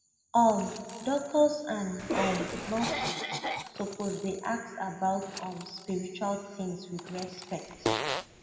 um doctors and um nurses suppose dey ask about um spiritual things with respect